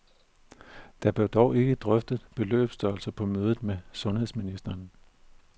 Der blev dog ikke drøftet beløbsstørelser på mødet med sundhedsministeren.